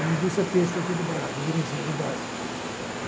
uma indústria têxtil aqui do Brá, do Belenzinho, do Brás.